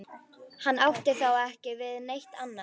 Hann átti þá ekki við neitt annað.